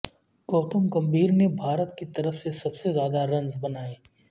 گوتم گمبھیر نے بھارت کی طرف سے سب سے زیادہ رنز بنائے